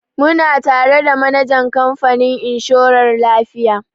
Muna tare da manajan kamfanin inshorar lafiya.